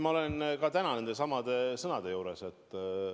Ma olen ka täna nendesamade sõnade juures.